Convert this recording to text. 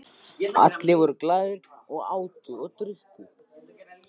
Allir voru glaðir, átu og drukku.